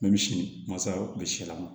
misi masaw kun bɛ si lama